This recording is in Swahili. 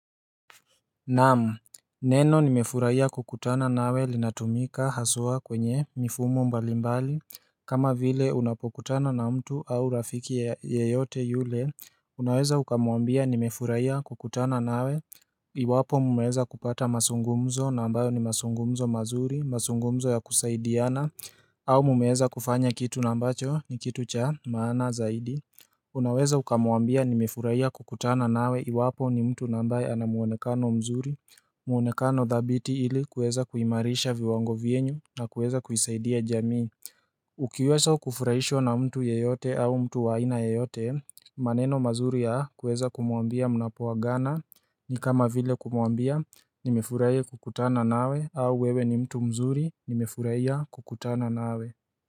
Naam, neno nimefurahia kukutana na wewe linatumika haswa kwenye mifumo mbalimbali kama vile unapokutana na mtu au rafiki yeyote yule Unaweza ukamwambia nimefurahia kukutana nawe Iwapo mmeweza kupata maungumzo ambayo ni mazungumzo mazuri, mazungumzo ya kusaidiana au mmeweza kufanya kitu ambacho ni kitu cha maana zaidi Unaweza ukamwambia nimefurahia kukutana nawe iwapo ni mtu ambaye ana muonekano mzuri muonekano thabiti ili kueza kuimarisha viwango vyenu na kuweza kuisaidia jamii Ukiweza kufurahishwa na mtu yeyote au mtu wa aina yoyote maneno mazuri ya kuweza kumwambia mnapoagana ni kama vile kumwambia nimefurahia kukutana nawe au wewe ni mtu mzuri nimefurahia kukutana nawe.